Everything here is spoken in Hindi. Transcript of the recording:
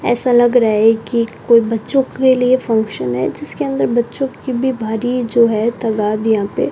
ऐसा लग रहा है कि कोई बच्चों के लिए फंक्शन है जिसके अंदर बच्चों की भी भारी जो है तादात यहां पे --